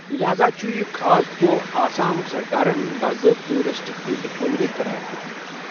لہاذا چُھ یہِ خاص دۄہ آسام سرکارن باضٲبطہٕ ریٚستِرٛکٹِڈ ہالِڈے قرار دیوٗتمٗت ۔